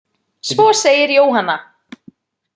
Svo segir Jóhanna.